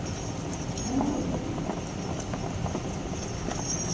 Já morreu também.